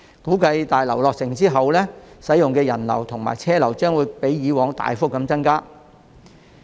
估計在大樓落成後，使用口岸的人流和車流均會較以往大幅增加。